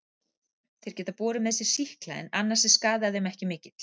Þeir geta borið með sér sýkla en annars er skaði að þeim ekki mikill.